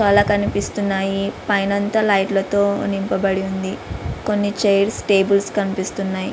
చాలా కనిపిస్తున్నాయి. పైన అంతా లైట్ల తో నింపబడి ఉంది. కొన్ని చైర్స్ టేబుల్స్ కనిపిస్తున్నాయి.